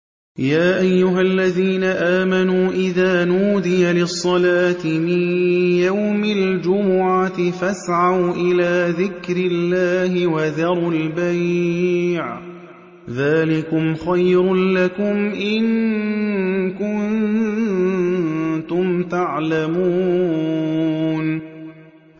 يَا أَيُّهَا الَّذِينَ آمَنُوا إِذَا نُودِيَ لِلصَّلَاةِ مِن يَوْمِ الْجُمُعَةِ فَاسْعَوْا إِلَىٰ ذِكْرِ اللَّهِ وَذَرُوا الْبَيْعَ ۚ ذَٰلِكُمْ خَيْرٌ لَّكُمْ إِن كُنتُمْ تَعْلَمُونَ